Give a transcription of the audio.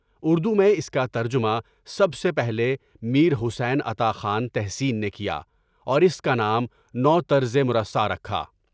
اردو میں اس کا ترجمہ سب سے پہلے میر حسین عطا خان تحسین نے کیا اور اس کا نام نو ترضےمراسا رکھا